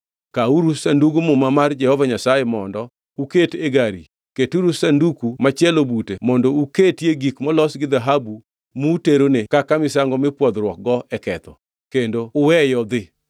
Kawuru Sandug Muma mar Jehova Nyasaye mondo uket e gari, keturu Sanduku machielo bute mondo uketie gik molos gi dhahabu muterone kaka misango mipwodhruokgo e ketho, kendo uweye odhi,